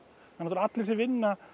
allir sem vinna